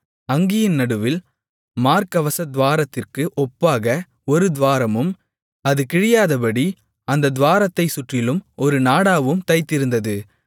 அங்கியின் நடுவில் மார்க்கவசத் துவாரத்திற்கு ஒப்பாக ஒரு துவாரமும் அது கிழியாதபடி அந்தத் துவாரத்தைச் சுற்றிலும் ஒரு நாடாவும் தைத்திருந்தது